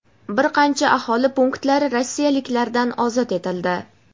bir qancha aholi punktlari rossiyaliklardan ozod etildi.